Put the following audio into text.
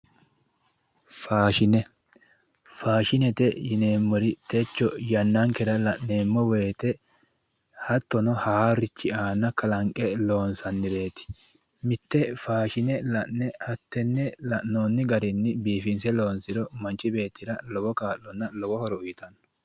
Faashine, faashinete yineemmori techo yannankera la'neemmo woyte hattono haarurichi aana kalanqe loonsannireti mite faashine la'ne hattene la'noonni garinni biifinse loonsiro manchi beettira lowo kaa'lonna lowo horo uyittano